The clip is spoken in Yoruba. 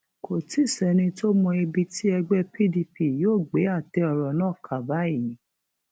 kò tí ì sẹni tó mọ ibi tí ẹgbẹ pdp yóò gbé àtẹ ọrọ náà kà báyìí